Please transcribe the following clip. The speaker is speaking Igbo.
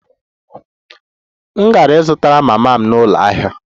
M gara izute mama m n'ụlọ ahịa